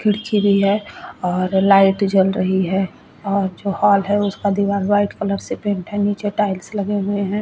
खिड़की भी है और लाइट जल रही है और जो हॉल है उसका दिवार व्हाईट कलर से पेंट है निचे टाईल्स लगे हुए है।